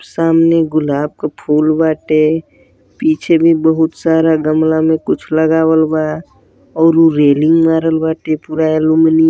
सामने गुलाब क फूल बाटे| पीछे भी बहुत सारा गमले मा कुछ लगाबल बा और रेलिगं बाटे पूरा--